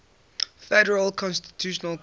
federal constitutional court